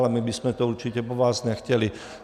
Ale my bychom to určitě po vás nechtěli.